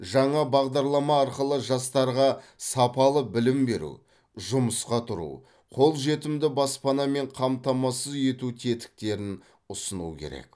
жаңа бағдарлама арқылы жастарға сапалы білім беру жұмысқа тұру қолжетімді баспанамен қамтамасыз ету тетіктерін ұсыну керек